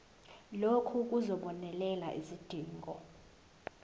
lokhu kuzobonelela izidingo